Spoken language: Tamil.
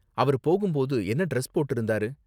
அவரு போகும் போது என்ன டிரஸ் போட்டிருந்தாரு?